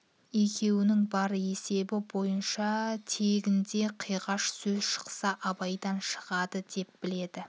екеуінің бар есебі бойынша тегінде қиғаш сөз шықса абайдан шығады деп білді